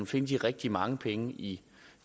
finde de rigtig mange penge i